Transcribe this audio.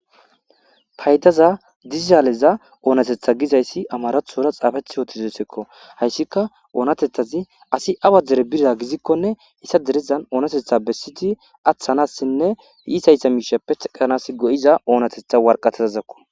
paydaza dizaaleza oonatetha gizayssi amarathora xaafeth yootizosekko hayssika oonatethazi asi awa dere bira gizikkone issa derezan oonatetha bessiti aththanassinne iisayssa miishappe heqanas go7iza oonatetha warqateazakko